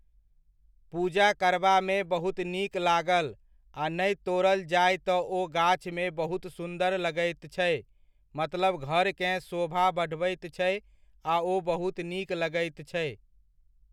पूजा करबामे बहुत नीक लागल आ नहि तोड़ल जाय तऽ ओ गाछमे बहुत सुन्दर लगैत छै, मतलब घरकेँ शोभा बढ़बैत छै आ ओ बहुत नीक लगैत छै।